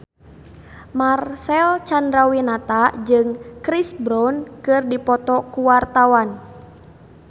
Marcel Chandrawinata jeung Chris Brown keur dipoto ku wartawan